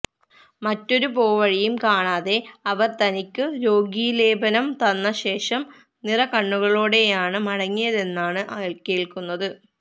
മറ്റൊരു പോവഴിയും കാണാതെ അവർ തനിക്കു രോഗീലേപനം തന്ന ശേഷം നിറകണ്ണുകളോടെയാണു മടങ്ങിയതെന്നാണു കേൾക്കുന്നത്